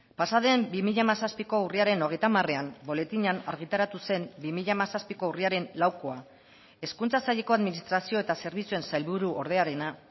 pasaden bi mila hamazazpiko urriaren hogeita hamarean boletinean argitaratu zen bi mila hamazazpiko urriaren laukoa hezkuntza saileko administrazio eta zerbitzuen sailburu ordearena